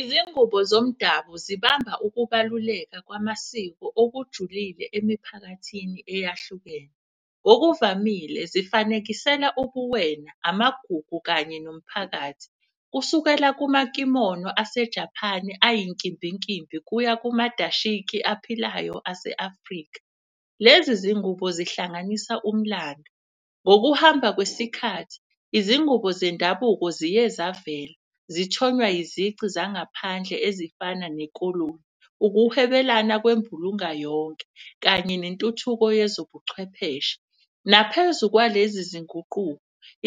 Izingubo zomdabu zibamba ukubaluleka kwamasiko okujulile emiphakathini eyahlukene. Ngokuvamile zifanekisela ubuwena, amagugu kanye nomphakathi. Kusukela kumakimono aseJaphani ayinkimbinkimbi kuya kumaDashiki aphilayo ase-Afrika. Lezi zingubo zihlanganisa umlando, ngokuhamba kwesikhathi izingubo zendabuko ziye zavela zisathonywa izici zangaphandle ezifana nekoloni. Ukuhwebelana kwembulunga yonke kanye nentuthuko yezobuchwepheshe. Naphezu kwalezi zinguquko,